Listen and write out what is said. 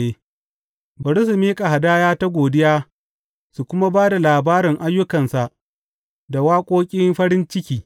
Bari su miƙa hadaya ta godiya su kuma ba da labarin ayyukansa da waƙoƙin farin ciki.